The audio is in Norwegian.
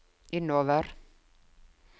innover